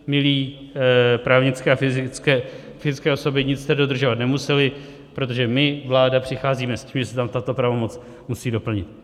Milé právnické a fyzické osoby, nic jste dodržovat nemusely, protože my, vláda, přicházíme s tím, že se tam tato pravomoc musí doplnit.